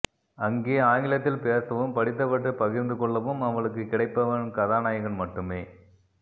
அங்கே ஆங்கிலத்தில் பேசவும் படித்தவற்றை பகிர்ந்துகொள்ளவும் அவளுக்குக் கிடைப்பவன் கதாநாயகன் மட்டுமே